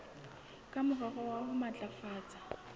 ka morero wa ho matlafatsa